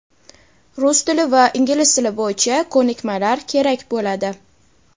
rus tili va ingliz tili bo‘yicha ko‘nikmalar kerak bo‘ladi.